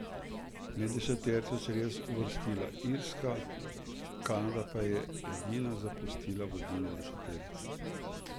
Med deseterico se je letos uvrstila Irska, Kanada pa je edina zapustila vodilno deseterico.